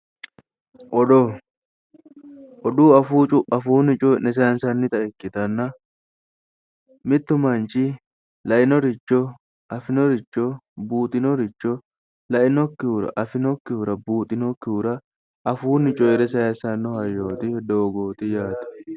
Odoo odoo afuunni coyii'ne sayiinsannita ikkitanna mittu manchi lainoricho, afinoricho, buuxinnoricho, lainokkihura, afinokkihura, buuxinokkihura afuunni cooyire sayiisanno hayyooti, doogoti yaate.